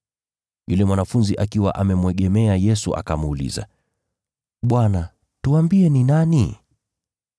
Yule mwanafunzi akamwegemea Yesu, akamuuliza, “Bwana, tuambie, ni nani?”